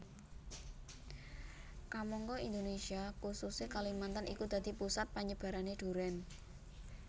Kamangka Indonésia khususé Kalimantan iku dadi pusat panyebarané durèn